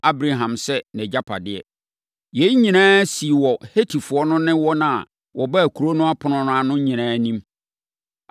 Abraham sɛ nʼagyapadeɛ. Yei nyinaa sii wɔ Hetifoɔ no ne wɔn a wɔbaa kuro no ɛpono no ano nyinaa anim.